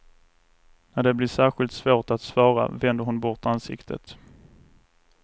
När det blir särskilt svårt att svara vänder hon bort ansiktet.